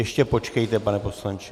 Ještě počkejte, pane poslanče.